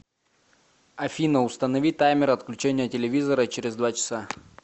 афина установи таймер отключения телевизора через два часа